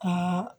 Ka